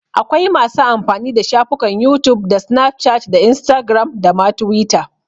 Akwai masu amfani da shafukan youtube da snapchat da instagram da ma twitter.